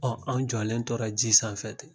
Ɔ an jɔlen tora ji sanfɛ ten